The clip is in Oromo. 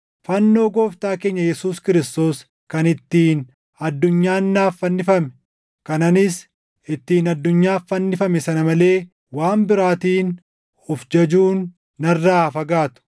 Fannoo Gooftaa keenya Yesuus Kiristoos kan ittiin addunyaan naaf fannifame, kan anis ittiin addunyaaf fannifame sana malee waan biraatiin of jajuun narraa haa fagaatu.